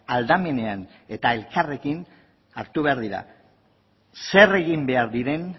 aldamenean eta elkarrekin hartu behar dira zer egin behar diren